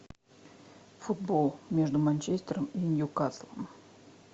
футбол между манчестером и ньюкаслом